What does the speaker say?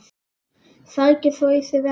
Sækir svo í sig veðrið.